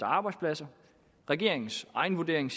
arbejdspladser regeringens egen vurdering